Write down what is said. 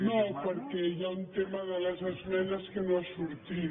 no perquè hi ha un tema de les esmenes que no ha sortit